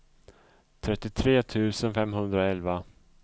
trettiotre tusen femhundraelva